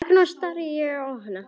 Agndofa stari ég á hana.